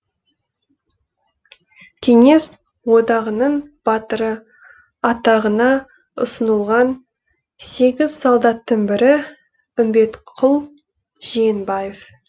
кеңес одағының батыры атағына ұсынылған сегіз солдаттың бірі үмбетқұл жиенбаев